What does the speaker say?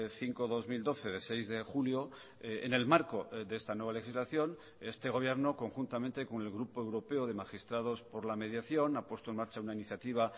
cinco barra dos mil doce de seis de julio en el marco de esta nueva legislación este gobierno conjuntamente con el grupo europeo de magistrados por la mediación ha puesto en marcha una iniciativa